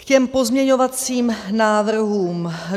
K těm pozměňovacím návrhům.